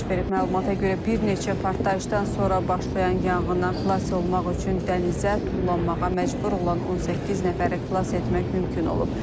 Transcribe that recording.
Məlumata görə bir neçə partlayışdan sonra başlayan yanğından xilas olmaq üçün dənizə tullanmağa məcbur olan 18 nəfəri xilas etmək mümkün olub.